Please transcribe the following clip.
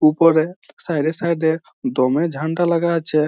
উপরে সাইড -এ সাইড -এ দম এ ঝাণ্ডা লাগা আছে-এ